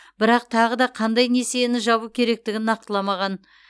бірақ тағы да қандай несиені жабу керектігін нақтыламаған